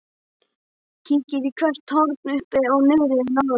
Kíkir í hvert horn uppi og niðri en án árangurs.